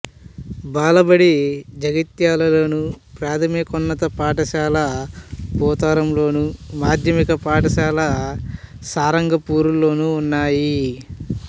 బాలబడి జగిత్యాలలోను ప్రాథమికోన్నత పాఠశాల పోతారంలోను మాధ్యమిక పాఠశాల సారంగపూర్లోనూ ఉన్నాయి